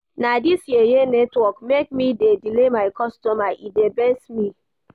Na dis yeye network make me dey delay my customer, e dey vex me.